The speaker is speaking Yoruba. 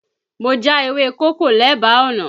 Mo já ewé kókò lẹ́bàá ọ̀nà